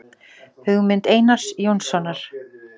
Hugmynd Einars Jónssonar.